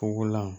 Pogolan